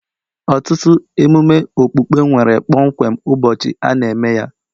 Ọtụtụ emume okpukpe nwere kpọmkwem ụbọchị a na-eme ya